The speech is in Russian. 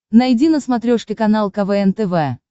найди на смотрешке канал квн тв